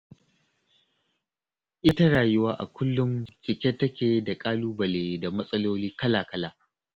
Ita rayuwa a kullum cike take da ƙalubale da matsaloli kala-kala.